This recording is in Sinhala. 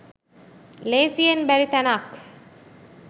ලේසියෙන් බැරි තැනක්.